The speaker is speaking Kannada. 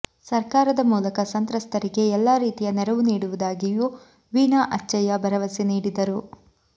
ಸರ್ಕಾರದ ಮೂಲಕ ಸಂತ್ರಸ್ಥರಿಗೆ ಎಲ್ಲಾ ರೀತಿಯ ನೆರವು ನೀಡುವುದಾಗಿಯೂ ವೀಣಾ ಅಚ್ಚಯ್ಯ ಭರವಸೆ ನೀಡಿದರು